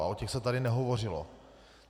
A o těch se tady nehovořilo.